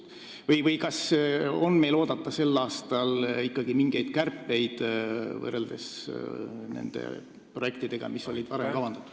Kas meil on sel aastal oodata ikkagi mingeid kärpeid võrreldes varem kavandatud projektidega?